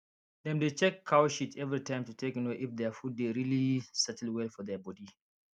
dem dey check cow shit every time to take know if their food dey really settle well for their body